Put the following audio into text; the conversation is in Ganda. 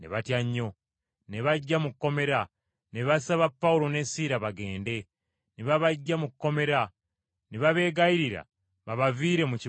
Ne bajja mu kkomera ne basaba Pawulo ne Siira bagende, ne babaggya mu kkomera ne babeegayirira babaviire mu kibuga kyabwe.